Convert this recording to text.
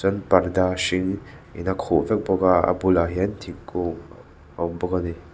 parda hring in a khuh vek bawk a a bulah hian thingkung a awm bawk a ni.